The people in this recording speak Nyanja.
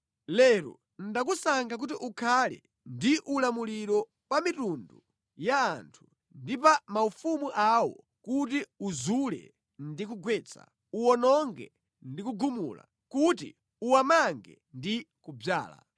Lero ndakusankha kuti ukhale ndi ulamuliro pa mitundu ya anthu ndi pa maufumu awo kuti uzule ndi kugwetsa, uwononge ndi kugumula, kuti uwamange ndi kudzala.”